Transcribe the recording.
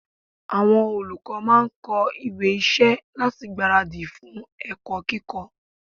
Àwọn olùkọ́ máà ń kọ ìwé iṣẹ́ láti gbára dì fún ẹ̀kọ́ kíkọ́.